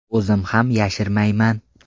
O‘zim ham yashirmayman.